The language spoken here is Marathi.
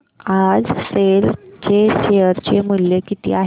आज सेल चे शेअर चे मूल्य किती आहे